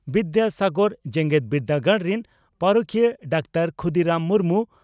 ᱵᱤᱫᱭᱟᱥᱟᱜᱚᱨ ᱡᱮᱜᱮᱛ ᱵᱤᱨᱫᱟᱹᱜᱟᱲ ᱨᱤᱱ ᱯᱟᱹᱨᱤᱠᱷᱤᱭᱟᱹ ᱰᱟᱠᱛᱟᱨ ᱠᱷᱩᱫᱤᱨᱟᱢ ᱢᱩᱨᱢᱩ